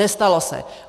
Nestalo se.